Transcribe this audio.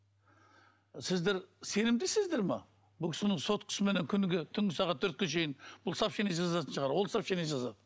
сіздер сенімдісіздер ме бұл кісінің соткысыменен күніге түнгі сағат төртке шейін бұл сообщение жазатын шығар ол сообщение жазады